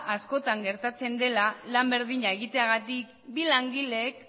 askotan gertatzen dela lan berdina egiteagatik bi langileek